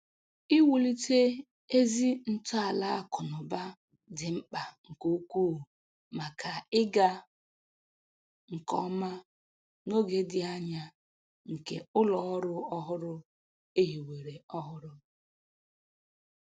Iwulite ezi ntọala akụ na ụba dị mkpa nke ukwuu maka ịga nke ọma n’oge dị anya nke ụlọ ọrụ ọhụrụ e hiwere ọhụrụ.